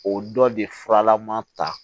O dɔ de furalama ta